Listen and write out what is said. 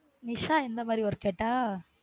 நிஷா எந்த மாதிரி work கேட்டா